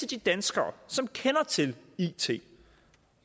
de danskere som kender til it